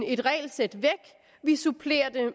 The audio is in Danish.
et regelsæt væk vi supplerer det